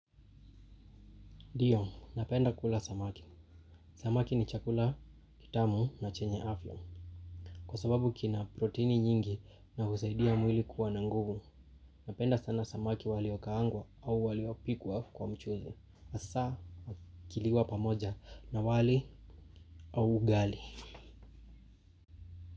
Ndio, napenda kula samaki. Samaki ni chakula kitamu na chenye afya. Kwa sababu kina proteini nyingi na husaidia mwili kuwa na nguvu, napenda sana samaki waliokaangwa au waliopikwa kwa mchuzi. Hasaa, ikiliwa pamoja na wali au ugali.